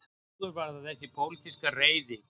Áður var það þessi pólitíska reiði